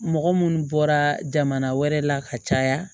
Mɔgɔ munnu bɔra jamana wɛrɛ la ka caya